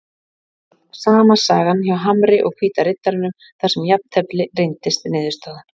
Það var svo sama sagan hjá Hamri og Hvíta Riddaranum þar sem jafntefli reyndist niðurstaðan.